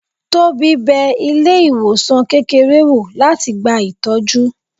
Tobi bẹ ilé ìwòsan kékeré wọ́, latí gbá ìtọjú